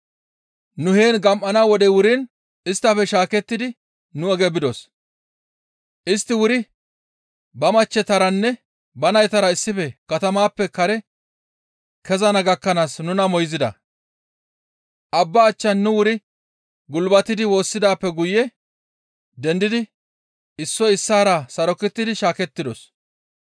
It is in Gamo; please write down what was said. Nu heen gam7ana wodey wuriin isttafe shaakettidi nu oge bidos; istti wuri ba machchetaranne ba naytara issife katamaappe kare kezana gakkanaas nuna moyzida; abba achchan nu wuri gulbatidi woossidaappe guye dendidi issoy issaara sarokettidi shaakettidos.